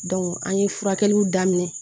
an ye furakɛliw daminɛ